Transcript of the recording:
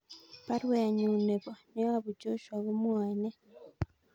Baruenyun neyobu Joshua komwae nee